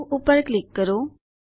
save પર click કરો